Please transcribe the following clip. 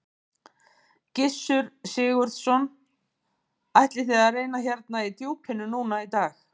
Gissur Sigurðsson: Ætlið þið að reyna hérna í djúpinu núna í dag?